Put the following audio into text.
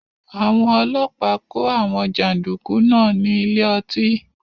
Àwọn ọlọ́pàá kó àwọn jàndùkú náà ní ilé ọtí